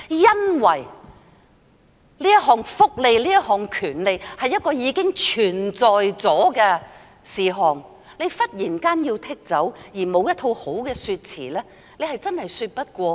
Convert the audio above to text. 因為這項福利、這項權利是已經存在的事實，忽然要將之剔除，而沒有一套好的說詞，真的說不過去。